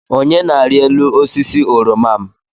Onye na-arị elu osisi oroma m.